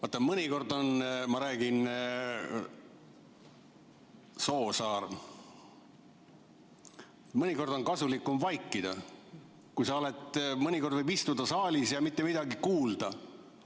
Vaata, mõnikord on – ma räägin, Soosaar –, mõnikord on kasulikum vaikida, mõnikord võib istuda saalis ja mitte midagi kuulda.